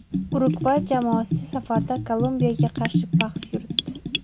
Urugvay jamoasi safarda Kolumbiyaga qarshi bahs yuritdi.